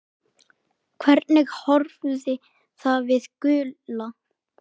Hvernig horfði það við Gulla?